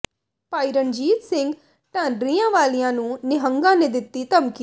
ਭਾਈ ਰਣਜੀਤ ਸਿੰਘ ਢੱਡਰੀਆਂਵਾਲਿਆਂ ਨੂੰ ਨਿਹੰਗਾਂ ਨੇ ਦਿੱਤੀ ਧਮਕੀ